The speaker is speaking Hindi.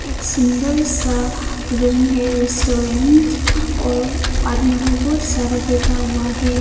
सुन्दर सा रूम है रेस्टोरेंट और आदमी लोग बहुत सारा बैठा हुआ है।